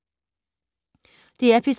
DR P3